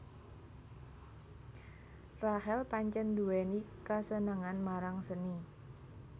Rachel pancèn nduwèni kasenengan marang seni